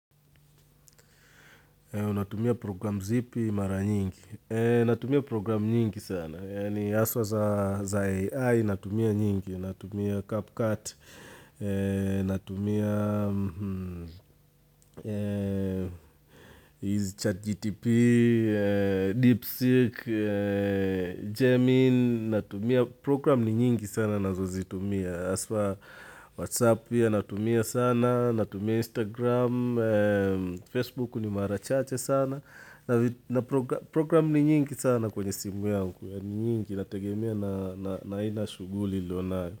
Natumia program zipi mara nyingi. Natumia program nyingi sana. Haswa za AI natumia nyingi. Natumia CapCut, Natumia ChatGpt, DeepSeek, Gemini. Natumia program ni nyingi sana nazozitumia. HAswa Whatsapp pia natumia sana, natumia Instagram, Facebook ni mara chache sana. Na program ni nyingi sana kwenye simu yangu ya nyingi nategemea na aina shughuli nilonalo.